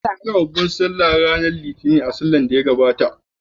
An yi babbar sallah ranar Litinin a shekarar da ta gabata.